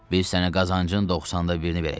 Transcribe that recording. Biz sənə qazancın 90da birini verəcəyik.